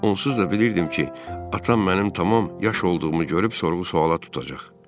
Onsuz da bilirdim ki, atam mənim tamam yaş olduğumu görüb sorğu-sualla tutacaq.